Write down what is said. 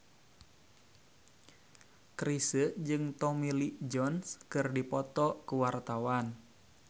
Chrisye jeung Tommy Lee Jones keur dipoto ku wartawan